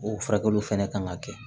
O furakɛliw fɛnɛ kan ka kɛ